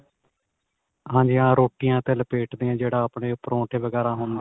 ਹਾਂਜੀ ਹਾਂਜੀ ਹਾਂ ਰੋਟੀਆਂ ਤੇ ਲਪੇਟਦੇ ਆ ਜਿਹੜਾ ਆਪਣੇ ਪਰੋਂਠੇ ਵਗੈਰਾ ਹੁੰਦੇ ਆ